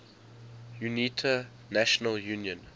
unita national union